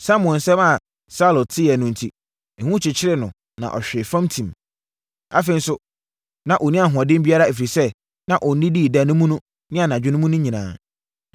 Samuel nsɛm a Saulo teeɛ no enti, ehu kyekyeree no ma ɔhwee fam tim. Afei nso, na ɔnni ahoɔden biara, ɛfiri sɛ, na ɔnnidii da mu no ne anadwo mu no nyinaa.